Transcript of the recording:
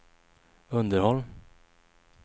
underhåll